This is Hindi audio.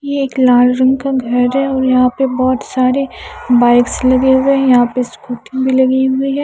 यह एक लाल रंग का घर है और यहाँ पे बहुत सारे बाइक्स लगे हुए हैं यहाँ पे स्कूटी भी लगी हुई है।